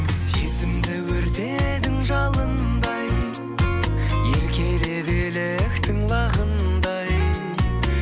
сезімді өртедің жалындай еркелеп еліктің лағындай